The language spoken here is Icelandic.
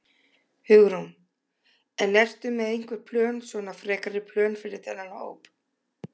Hugrún: En ertu með einhver plön svona, frekari plön fyrir þennan hóp?